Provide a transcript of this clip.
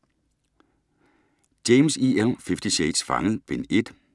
James, E. L.: Fifty shades: Fanget: Bind 1 E-bog 712282